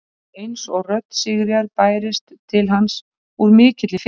Það var eins og rödd Sigríðar bærist til hans úr mikilli fjarlægð.